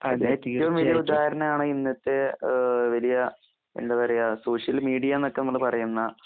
അതെ. കീടംവല്യകുറ്റകാരനാണ് ഇന്നത്തേ ഏഹ് വലിയ എന്തപറയാ സോഷ്യൽമീഡിയാന്നക്കെമ്മള്പറയുന്ന